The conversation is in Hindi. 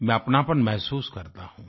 मैं अपनापन महसूस करता हूँ